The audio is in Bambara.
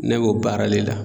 Ne b'o baara le la